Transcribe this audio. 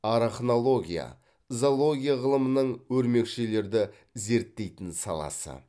арахнология зоология ғылымының өрмекшілерді зерттейтін саласы